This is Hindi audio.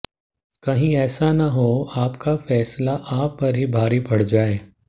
कहीं ऐसा न हो आपका फैसला आप पर ही भारी पड़ जाए